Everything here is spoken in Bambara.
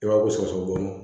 I b'a ko sɔgɔsɔgɔ dɔɔnin